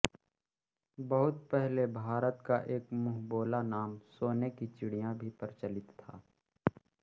बहुत पहले भारत का एक मुंहबोला नाम सोने की चिड़िया भी प्रचलित था